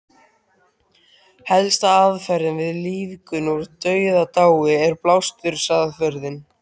Helsta aðferðin við lífgun úr dauðadái er blástursaðferðin.